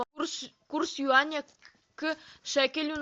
курс юаня к шекелю